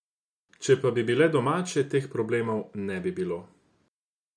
Če pa bi bile domače, teh problemov ne bi bilo.